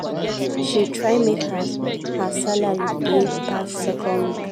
she try make her her salary dey pass second week